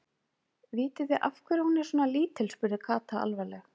Vitið þið af hverju hún er svona lítil? spurði Kata alvarleg.